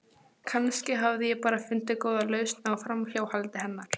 Kannski hafði ég bara fundið góða lausn á framhjáhaldi hennar.